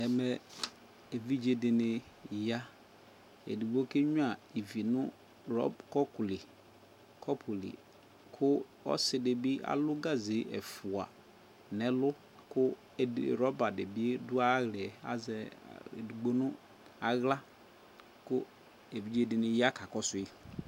Ɛnɛ, ebidze de ne ya edigbo ke nyua ivi no rɔb, kɔpu li ko ɔse de be alu gaze ɛfua nɛlu ko rɔba de be do ahlɛɛ, Azɛ edigno no ahla ko evidze de ne ya ka kɔsoe